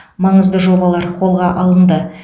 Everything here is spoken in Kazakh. маңызды жобалар қолға алынды